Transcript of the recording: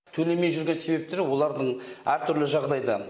төлемей жүрген себептері олардың әртүрлі жағдайда